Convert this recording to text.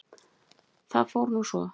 Það fór nú svo.